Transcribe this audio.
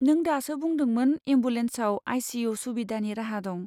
नों दासो बुंदोंमोन एम्बुलेन्सआव आइ.सि.इउ. सुबिदानि राहा दं।